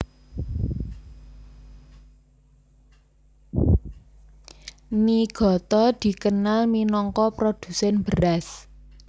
Niigata dikenal minangka produsèn beras